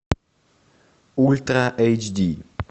ультра эйч ди